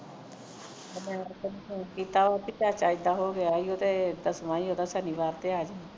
ਤੇ ਮੈਂ ਤੈਨੂੰ phone ਕੀਤਾ ਤੇ ਤੁਹਾਡਾ ਏਦਾ ਹੋ ਗਿਆ ਓ ਤੇ ਦਸਵਾਂ ਹੀ ਉਹਦਾ ਸ਼ਨੀਵਾਰ ਤੇ ਆ ਜਾਵੀਂ